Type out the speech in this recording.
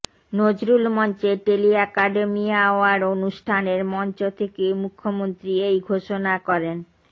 নজরুল মঞ্চে tele academy award অনুষ্ঠানের মঞ্চ থেকে মুখ্যমন্ত্রী এই ঘোষণা করেন